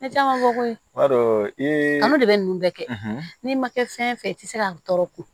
Ne caman fɔ koyi i b'a dɔn olu de bɛ ninnu bɛɛ kɛ n'i ma kɛ fɛn fɛn i tɛ se ka tɔɔrɔ ko